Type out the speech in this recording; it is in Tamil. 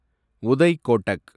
உதய் கோட்டக்